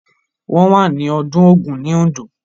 Wọ́n wà ní ọdún Ògún ní Oǹdó.